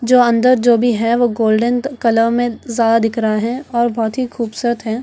जो अंदर जो अभी है वो गोल्डन कलर में ज्यादा दिख रहा है वो बहुत ही खूबसूरत है।